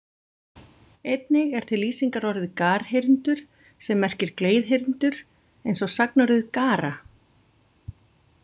Einnig er til lýsingarorðið garhyrndur sem merkir gleiðhyrndur og eins sagnorðið gara.